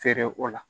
Feere o la